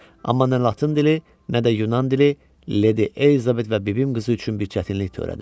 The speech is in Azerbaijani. Amma nə Latın dili, nə də Yunan dili Leydi Elizabet və bibim qızı üçün bir çətinlik törədir.